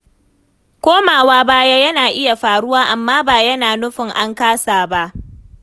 Komawa baya yana iya faruwa, amma ba yana nufin an kasa ba.